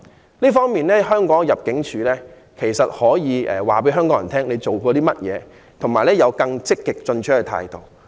在這方面，我覺得香港入境事務處可以告訴香港人它所做的工作，以及採取更積極進取的態度。